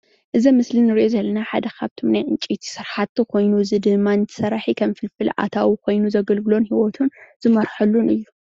እዚ ኣብ ምስሊ እንሪኦ ዘለና ና ዕንጨይቲ ስራሕቲ ኮይኑ ሰራሒ ከሞ ፋልፍል አታዎ ምስሊ እንሪኦ ዘለና ሓደ ካብ ዕንጨይቲ ስራሕቲ ኮይኑ እዚ ድማ ምልኣታዊ ኮይኑ ሂወቱ ዘገልግለሉን ዝመርሓሉን እዩ፡፡